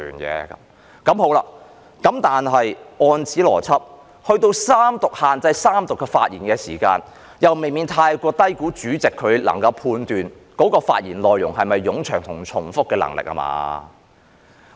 但是，按此邏輯，到了法案三讀，給予主席限制議員在三讀的發言時限，又未免太過低估主席判斷議員的發言內容是否冗長和重複的能力了吧？